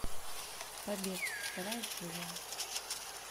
побег вторая серия